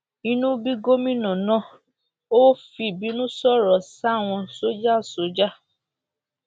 inú bí gómìnà náà ò fìbínú sọrọ sáwọn sójà sójà